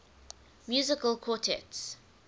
musical quartets